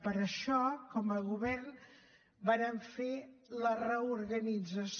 per això com a govern vàrem fer la reorganització